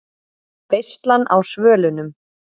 VEISLAN Á SVÖLUNUM